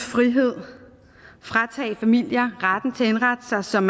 frihed fratage familier retten til at indrette sig som